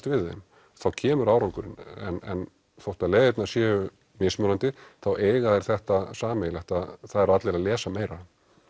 við þeim þá kemur árangurinn en hvort að leiðirnar séu mismunandi þá eiga þær þetta sameiginlegt að það eru allir að lesa meira